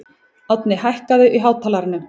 Árni, hækkaðu í hátalaranum.